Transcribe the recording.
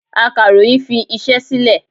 Akàròyìn fi iṣẹ́ sílè.